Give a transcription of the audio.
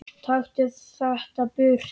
Taktu þetta burt!